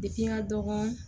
Depi n ka dɔgɔn